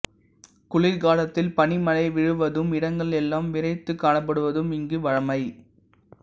குளிர்காலத்தில் பனிமழை விழுவதும் இடங்கள் எல்லாம் விறைத்துக் காணப்படுவதும் இங்கு வழமை